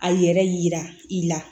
A yɛrɛ yira i la